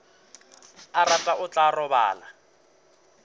a rata o tla robala